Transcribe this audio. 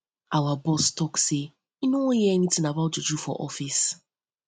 our boss don tok um am sey im no wan hear anytin about juju for office